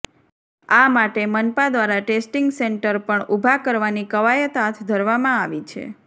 આ માટે મનપા દ્વારા ટેસ્ટિંગ સેન્ટર પણ ઉભા કરવાની કવાયત હાથ ધરવામાં આવી છે